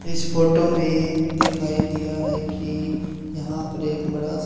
इस फोटो में दिखाई दिया है कि यहां पर एक बड़ा स--